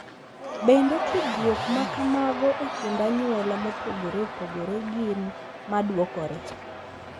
Bende, tudruok ma kamago e kind anyuola mopogore opogore gin ma dwokore.